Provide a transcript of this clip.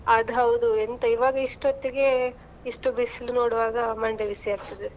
ಅದ್ ಹೌದು. ಎಂತ ಇವಾಗ ಇಷ್ಟ್ ಹೊತ್ತಿಗೆ ಇಷ್ಟು ಬಿಸಿಲು ನೋಡ್ವಾಗ, ಮಂಡೆ ಬಿಸಿ ಆಗ್ತದೆ.